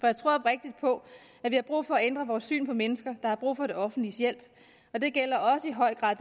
jeg tror oprigtigt på at vi har brug for at ændre vores syn på mennesker der har brug for det offentliges hjælp og det gælder i høj grad